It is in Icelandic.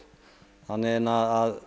þannig að